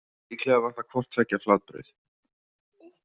Líklega var það hvort tveggja flatbrauð.